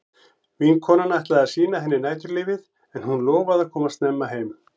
Vinkonan ætlaði að sýna henni næturlífið en hún lofaði að koma snemma heim.